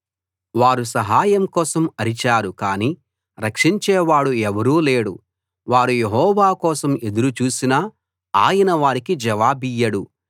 వారు సహాయం కోసం అరిచారు కానీ రక్షించే వాడు ఎవడూ లేడు వారు యెహోవా కోసం ఎదురు చూసినా ఆయన వారికి జవాబియ్యడు